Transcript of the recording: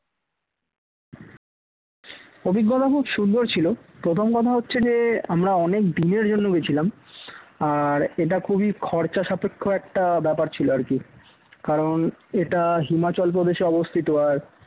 অভিজ্ঞতা খুব সুন্দর ছিল প্রথম কথা হচ্ছে যে আমরা অনেক দিনের জন্য গিয়েছিলাম আর এটা খুবই খরচা সাপেক্ষ একটা ব্যাপার ছিল আর কী, কারণ এটা হিমাচলপ্রদেশে অবস্থিত আর